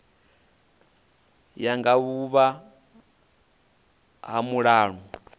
ya nga vhuvha ha mulanu